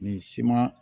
Nin siman